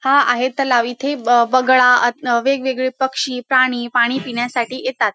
हा आहे तलाव. इथे ब बगळा आ वेगवेगळे पक्षी प्राणी पाणी पिण्यासाठी येतात.